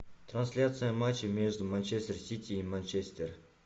трансляция матча между манчестер сити и манчестер